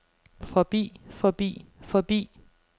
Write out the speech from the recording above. forbi forbi forbi